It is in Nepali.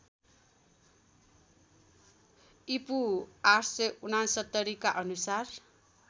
ईपू ८६९ का अनुसार